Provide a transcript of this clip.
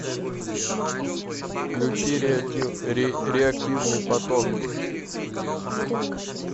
включи реактивный поток